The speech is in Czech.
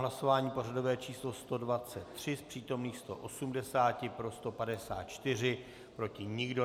Hlasování pořadové číslo 123, z přítomných 180 pro 154, proti nikdo.